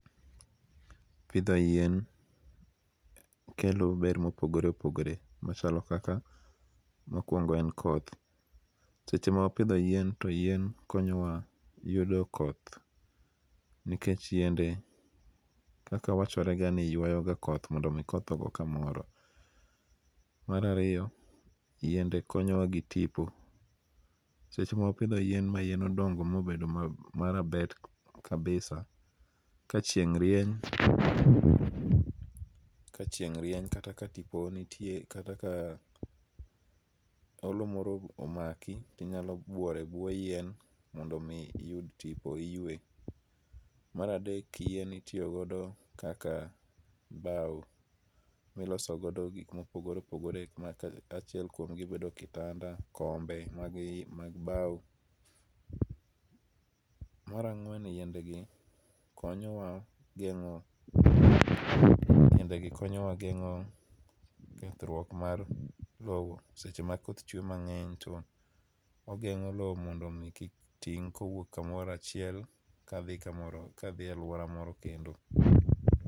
Pidho yien kelo ber mopogore opogere machalo kaka mokwongo en koth seche ma wapidho yien to yien konyo wa yudo koth nikech yiende kaka wachorega ni ywayo ga koth mondo koth ogo kamoro, mar ariyo yiende konyo wa gi tipo seche ma wapitho yien modongo mobedo marabet kabisa ka chieng rieny ka chieng rieny kata ka tipo nitie kata ka olo moro omaki inyalo bworo e bwo yien mondo mi iyud tipo iyue. Mar adek yien itiyo godo kaka mh bao miloso godo gik mopogore opogore achiek kuomgi bedo kitanda, kombe magi mag bao mar ang'wen yiende gi konyowa yiende gi konyowa geng'o kethruok mar loo seche ma koth chwe mang'eny to ogengo loo modo mi kik ting kowuok kamoro achiel kadhi kamoro aluora moro kendo.